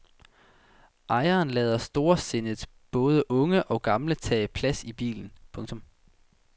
Ejeren lader storsindet både unge og gamle tage plads i bilen. punktum